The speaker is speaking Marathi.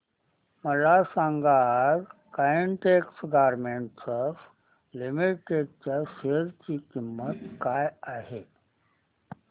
मला सांगा आज काइटेक्स गारमेंट्स लिमिटेड च्या शेअर ची किंमत काय आहे